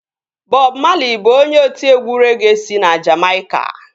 Bọb Mali bụ onye otiegwu regee si na Jamaica